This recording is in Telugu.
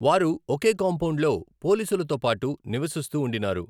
వారు ఒకే కాంపౌండ్లో పోలీసులతో పాటు నివసిస్తూ ఉండినారు.